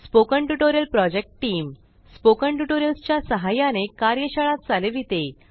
spoken tutorial project team spoken tutorials च्या सहाय्याने कार्यशाळा चालविते